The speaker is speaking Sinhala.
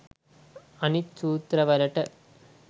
අනිත් සූත්‍රවලට